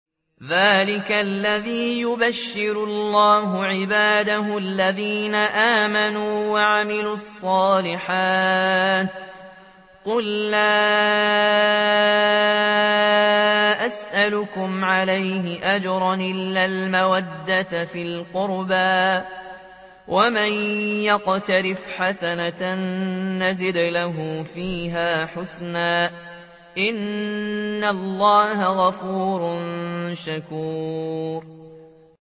ذَٰلِكَ الَّذِي يُبَشِّرُ اللَّهُ عِبَادَهُ الَّذِينَ آمَنُوا وَعَمِلُوا الصَّالِحَاتِ ۗ قُل لَّا أَسْأَلُكُمْ عَلَيْهِ أَجْرًا إِلَّا الْمَوَدَّةَ فِي الْقُرْبَىٰ ۗ وَمَن يَقْتَرِفْ حَسَنَةً نَّزِدْ لَهُ فِيهَا حُسْنًا ۚ إِنَّ اللَّهَ غَفُورٌ شَكُورٌ